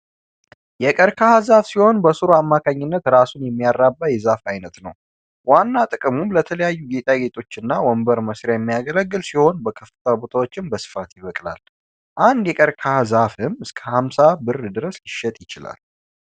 የቀርቀሃ ዛፍ ሲሆን በስሩ ማካኝነት ራሱን የሚያራባ የዛፍ አይነት ነው። ዋና ጥቅሙም ለተለያዩ ጌጣጌጦችና ወንበር መስሪያ የሚያገለገል ሲሆን በከፈታ ቦታዎች በስፋት ይቅላል። አንድ ይቅቃሃ ዛፍም እስከ አምሳ ብር ድረስ ትሸጣለች።